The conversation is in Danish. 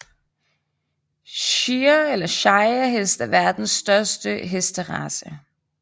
Shire eller Shire hest er verdens største hesterace